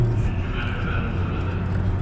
Üçüncü mərtəbənin bura nə dəxli?